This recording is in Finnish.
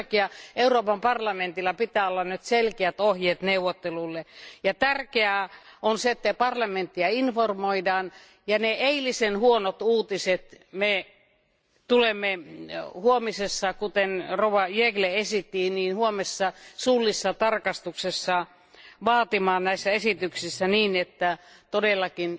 Sen takia Euroopan parlamentilla pitää olla nyt selkeät ohjeet neuvottelulle, ja tärkeää on se, että parlamenttia informoidaan ja ne eilisen huonot uutiset me tulemme huomisessa, kuten Jeggle esitti, huomisessa suullisessa tarkistuksessa vaatimaan näissä esityksissä niin, että todellakin